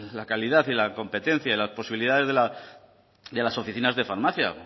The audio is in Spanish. la calidad la competencia y las posibilidades de las oficinas de farmacia